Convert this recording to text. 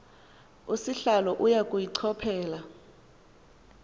sihlalo uya kuyichophela